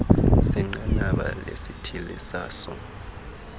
senqanaba lesithili sazo